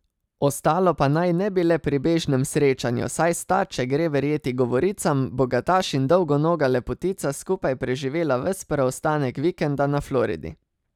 Ostalo pa naj ne bi le pri bežnem srečanju, saj sta, če gre verjeti govoricam, bogataš in dolgonoga lepotica skupaj preživela ves preostanek vikenda na Floridi.